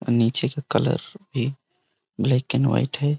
नीचे का कलर भी ब्लैक एण्ड व्हाइट है।